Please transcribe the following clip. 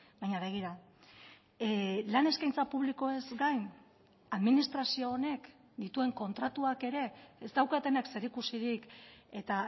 baina begira lan eskaintza publikoez gain administrazio honek dituen kontratuak ere ez daukatenak zerikusirik eta